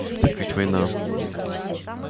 так ведь война